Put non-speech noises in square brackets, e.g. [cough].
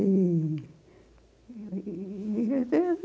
E e [unintelligible]